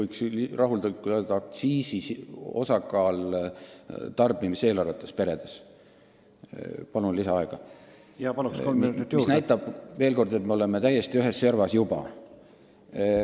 Edasi, meil on kõige suurem alkoholiaktsiisi osakaal perede tarbimiseelarvetes, mis näitab veel kord, et me oleme täiesti ühes servas juba.